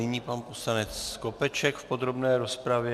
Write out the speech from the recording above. Nyní pan poslanec Skopeček v podrobné rozpravě.